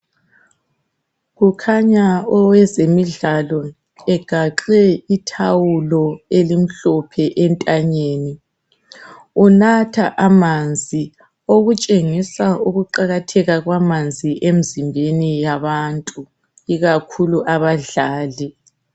Kukhanya owezemidlalo egaxe ithawulo elimhlophe entanyeni. Unatha amanzi okutshengisa ukuqakatheka kwamanzi emzimbeni yabantu, ikakhulu abadlali.